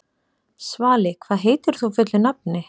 Svali, hvað heitir þú fullu nafni?